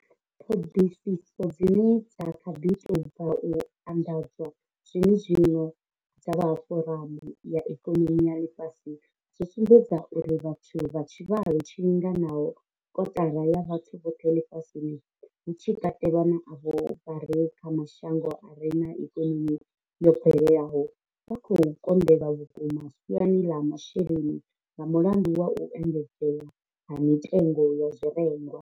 Ṱhoḓisiso dzine dza kha ḓi tou bva u anḓadzwa zwene zwino dza vha Foramu ya Ikonomi ya Ḽifhasi dzo sumbedza uri vhathu vha tshivhalo tshi linganaho kotara ya vhathu vhoṱhe ḽifhasini, hu tshi katelwa na avho vha re kha mashango a re na ikonomi yo bvelelaho, vha khou konḓelwa vhukuma siani ḽa zwa masheleni nga mulandu wa u engedzea ha mitengo ya zwirengwa.